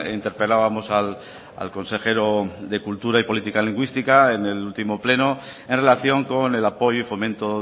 interpelábamos al consejero de cultura y política lingüística en el último pleno en relación con el apoyo y fomento